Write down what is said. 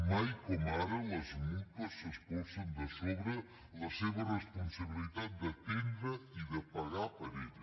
mai com ara les mútues s’espolsen de sobre la seva responsabilitat d’atendre i de pagar per ella